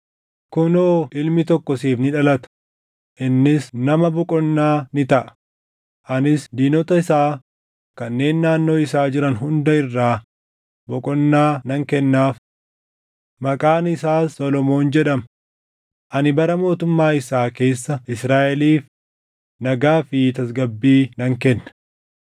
Kunoo ilmi tokko siif ni dhalata; innis nama boqonnaa ni taʼa; anis diinota isaa kanneen naannoo isaa jiran hunda irraa boqonnaa nan kennaaf. Maqaan isaas Solomoon jedhama; ani bara mootummaa isaa keessa Israaʼeliif nagaa fi tasgabbii nan kenna.